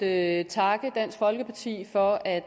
at takke dansk folkeparti for at